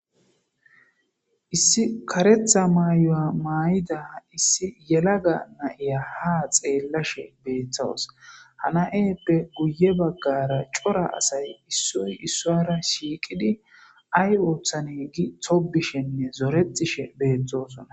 Issi kereththa mayuwa mayida issi yelaga na'iya ha xelashshe betaywus ha nayeyippe guye baggara cora asay issoy isuwara shiqidi ayi oththanne gi zoretishshenne tobise bettosona